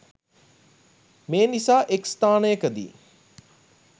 මේ නිසා එක් ස්ථානයකදී